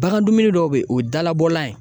Bagan dumuni dɔw be yen o ye dalabɔlan ye